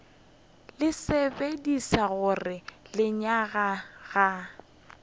le tsebiša gore lenyaga ga